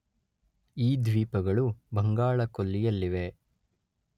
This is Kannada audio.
ಈ ದ್ವೀಪಗಳು ಬಂಗಾಳ ಕೊಲ್ಲಿಯಲ್ಲಿವೆ.